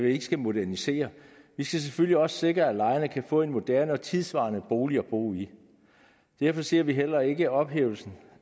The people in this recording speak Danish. ikke skal modernisere vi skal selvfølgelig også sikre at lejerne kan få en moderne og tidssvarende bolig at bo i derfor ser vi heller ikke ophævelsen